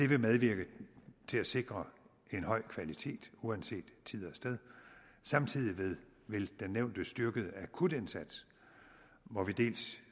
vil medvirke til at sikre en høj kvalitet uanset tid og sted samtidig vil den nævnte styrkede akutindsats hvor vi dels